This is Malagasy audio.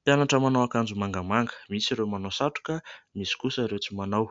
Mpianatra manao akanjo mangamanga, misy ireo manao satroka, misy kosa ireo tsy manao.